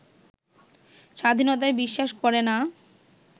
স্বাধীনতায় বিশ্বাস করেনা